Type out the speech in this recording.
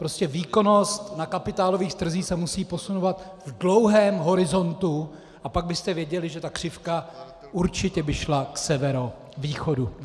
Prostě výkonnost na kapitálových trzích se musí posuzovat v dlouhém horizontu a pak byste viděli, že ta křivka určitě by šla k severovýchodu.